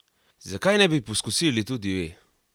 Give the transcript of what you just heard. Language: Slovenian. Zakaj ne bi poskusili tudi vi?